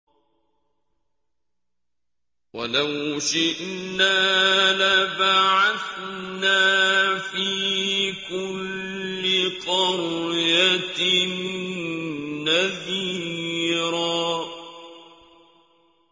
وَلَوْ شِئْنَا لَبَعَثْنَا فِي كُلِّ قَرْيَةٍ نَّذِيرًا